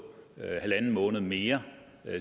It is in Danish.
en en halv måned mere